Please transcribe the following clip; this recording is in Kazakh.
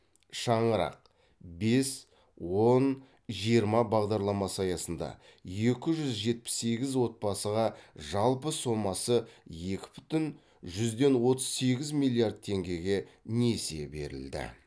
шаңырақ бес он жиырма бағдарламасы аясында екі жүз жетпіс сегіз отбасыға жалпы сомасы екі бүтін жүзден отыз сегіз миллиард теңгеге несие берілді